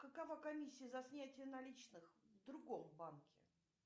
какова комиссия за снятие наличных в другом банке